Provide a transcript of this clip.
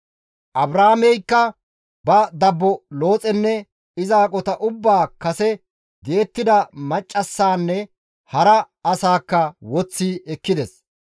Abraameykka ba dabbo Looxenne iza aqota ubbaa kase di7ettida maccassaanne hara asaakka woththi ekkides.